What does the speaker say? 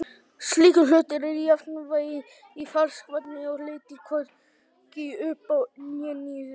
slíkur hlutur er í jafnvægi í ferskvatni og leitar hvorki upp né niður